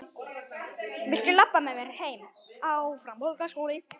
Viltu labba með mér heim?